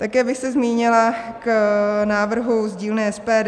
Také bych se zmínila o návrhu z dílny SPD.